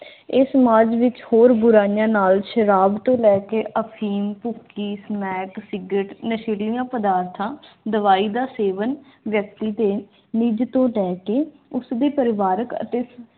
ਇਹ ਸਮਾਜ ਵਿਚ ਹੋਰ ਬੁਰਾਈਆਂ ਨਾਲ ਸ਼ਰਾਬ ਤੋਂ ਲੈ ਕੇ ਅਫੀਮ ਭੁੱਕੀ ਸਮੈਕ ciggrette ਨਸ਼ੇ ਦੀਆਂ ਪ੍ਰਦਾਰਥਾਂ ਦਵਾਈ ਦਾ ਸੇਵਨ ਵਿਅਕਤੀ ਨਿਜ ਤੂੰ ਲੈ ਕ ਦੀ ਪਰਿਵਾਰਕ ਅਤੇ